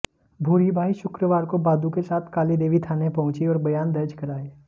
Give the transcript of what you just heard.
भूरीबाई शुक्रवार को बादू के साथ कालीदेवी थाने पहुंची और बयान दर्ज कराए